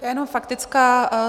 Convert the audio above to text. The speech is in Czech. Jenom faktická.